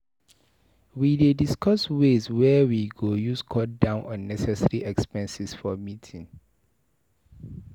We dey discuss ways wey we go use cut down unnecessary expenses for meeting.